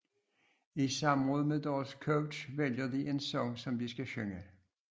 I samråd med deres coach vælger de en sang som de skal synge